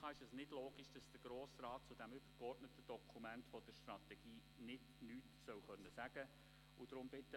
Für die GPK ist es nicht logisch, dass der Grosse Rat zu diesem übergeordneten Dokument der Strategie nichts sagen können soll.